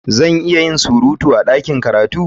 Zan iya yin surutu a ɗakin karatu?